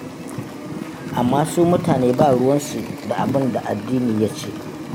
Amma su mutane ba ruwansu da abin da addini ya ce.